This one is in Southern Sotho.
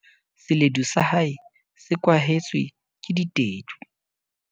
seledu sa hae se kwahetswe ke ditedu